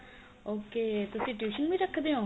ok ਤੁਸੀਂ tuition ਵੀ ਰੱਖਦੇ ਓ